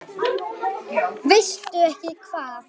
Veistu ekki hvað?